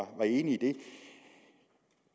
var enig i